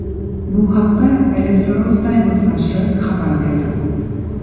Bu haqda Eleftheros Typos nashri xabar berdi .